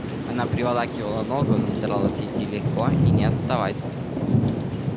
она приволакивала ногу но старалась идти легко и не отставать